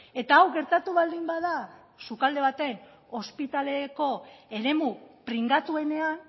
eta hau gertatu baldin bada sukalde baten ospitaleko eremu pringatuenean